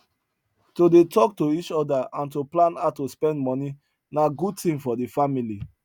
to dey talk to each other and to plan how to spend money na good thing for the family